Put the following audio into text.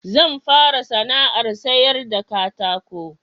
Zan fara sana'ar sayar da katako